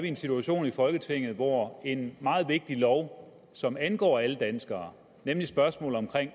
i en situation i folketinget hvor en meget vigtig lov som angår alle danskere nemlig spørgsmålet om